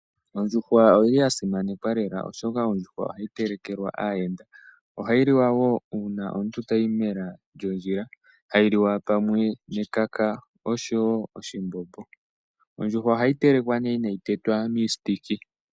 Ondjuhwa oyili ya simanekwa lela, oshoka ondjuhwa ohayi telekelwa aayenda ohayi liwa wo uuna omuntu tayi mela lyondjila hayi liwa pamwe nekaka oshowo oshimbombo. Ondjuhwa ohayi telekwa ne inayi tetwa miipambu.